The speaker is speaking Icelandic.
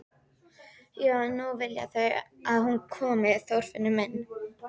Já en nú vilja þau að hún komi, Þorfinnur minn.